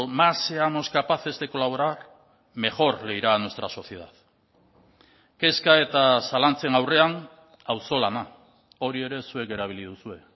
más seamos capaces de colaborar mejor le irá a nuestra sociedad kezka eta zalantzen aurrean auzolana hori ere zuek erabili duzue